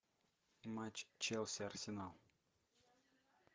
матч челси арсенал